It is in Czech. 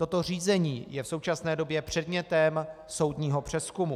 Toto řízení je v současné době předmětem soudního přezkumu.